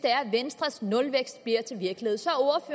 venstres nulvækst bliver til virkelighed så